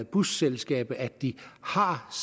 busselskaberne at de har